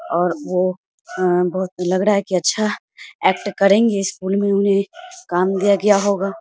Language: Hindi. और वो अ बहोत लग रहा है कि अच्छा एक्ट करेंगे स्कूल में उन्हें काम दिया होगा।